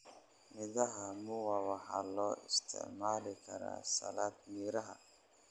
Midhaha muwa waxaa loo isticmaali karaa salad miraha.